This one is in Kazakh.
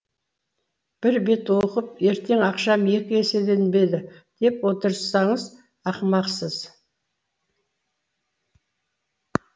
бір бет оқып ертең ақшам екі еселенбеді деп отырсаңыз ақымақсыз